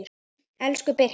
Elsku Birkir.